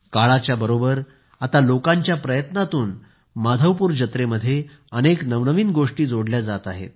काळाच्या बरोबर आता लोकांच्या प्रयत्नातून माधवपूर जत्रेमध्ये अनेक नवनवीन गोष्टी जोडल्या जात आहेत